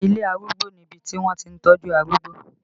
Ilé Arúgbó ni ibi tí wọ́n ti ń tọ́jú arúgbó